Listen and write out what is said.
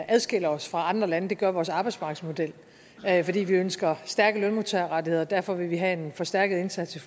adskiller os fra andre lande det gør vores arbejdsmarkedsmodel fordi vi ønsker stærke lønmodtagerrettigheder og derfor vil vi have en forstærket indsats i